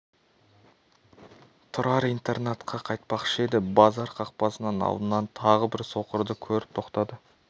тұрар интернатқа қайтпақшы еді базар қақпасынын алдынан тағы бір соқырды көріп тоқтады